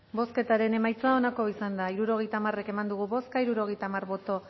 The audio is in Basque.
bozketaren emaitza onako izan da hirurogeita hamar eman dugu bozka hirurogeita hamar boto